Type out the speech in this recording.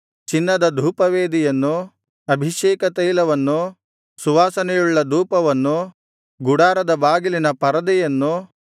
ಚಿನ್ನದ ಧೂಪವೇದಿಯನ್ನು ಅಭಿಷೇಕತೈಲವನ್ನು ಸುವಾಸನೆಯುಳ್ಳ ಧೂಪವನ್ನು ಗುಡಾರದ ಬಾಗಿಲಿನ ಪರದೆಯನ್ನು